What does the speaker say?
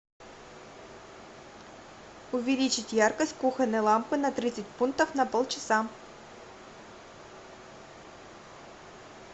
увеличить яркость кухонной лампы на тридцать пунктов на полчаса